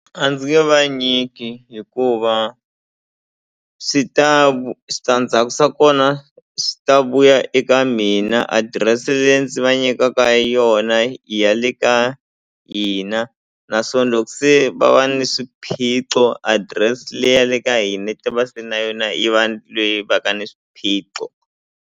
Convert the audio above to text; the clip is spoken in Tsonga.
A ndzi nge vanyiki hikuva swi ta switandzhaku swa kona swi ta vuya eka mina adirese leyi ndzi va nyikaka yona i ya le ka hina naswona loko se va va ni swiphiqo adress leyi ya le ka hina yi ta va se na yona yi va leyi va ka ni swiphiqo.